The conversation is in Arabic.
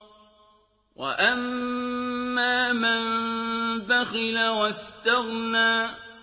وَأَمَّا مَن بَخِلَ وَاسْتَغْنَىٰ